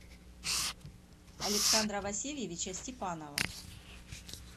александра васильевича степанова